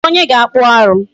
Kedụ onye ga-akpụ arụ.